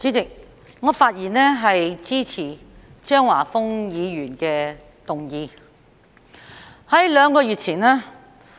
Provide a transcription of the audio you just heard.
代理主席，我發言支持張華峰議員的議案。